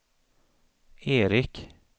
Erik